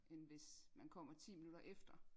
End hvis man kommer ti minutter efter